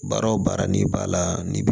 Baara o baara n'i b'a la ni